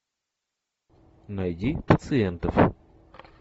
найди пациентов